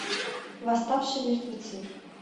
восставшие мертвецы